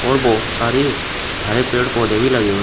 और बहुत सारे हरे पेड़ पौधे भी लगे हुए--